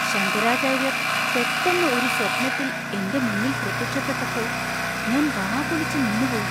ശങ്കരാചാര്യർ പെട്ടെന്ന് ഒരു സ്വപ്നത്തിൽ എൻ്റെ മുന്നിൽ പ്രത്യക്ഷപ്പെട്ടപ്പോൾ ഞാൻ വാ പൊളിച്ച് നിന്നുപോയി.